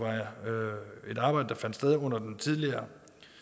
et arbejde der fandt sted under den tidligere